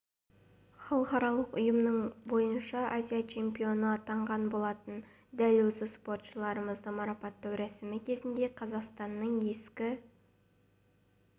халықаралық ұйымының бойынша азия чемпионы атанған болатын дәл осы спортшымызды марапаттау рәсімі кезінде қазақстанның ескі